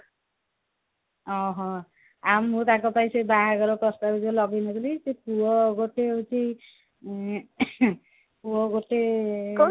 ଓଃହୋ ଆଉ ମୁଁ ତାଙ୍କ ପାଇଁ ସେ ବାହାଘର ପ୍ରସ୍ତାବ ଯୋଉ ଲଗେଇ ନଥିଲି ସେ ପୁଅ ଗୋଟେ ସେଇ ଉଁ ପୁଅ ଗୋଟେ